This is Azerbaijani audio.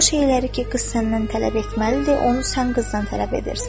O şeyləri ki qız səndən tələb etməlidir, onu sən qızdan tələb edirsən.